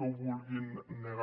ho vulguin negar